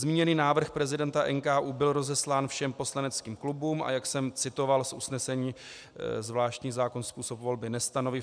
Zmíněný návrh prezidenta NKÚ byl rozeslán všem poslaneckým klubům, a jak jsem citoval z usnesení, zvláštní zákon způsob volby nestanoví.